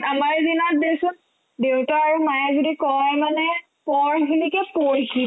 আমাৰ দিনত দেখিছো দেউতা আৰু মায়ে যদি কই মানে পঢ়াখিনিকে পঢ়িছিলো